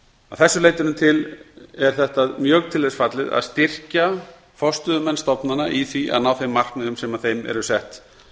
þessu leytinu til er þetta mjög til þess fallið að styrkja forstöðumenn stofnana í því að ná þeim markmiðum sem þeim eru sett